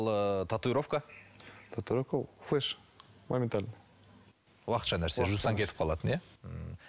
ыыы татуировка татуировка флеш моментально уақытша нәрсе жусаң кетіп қалатын иә ммм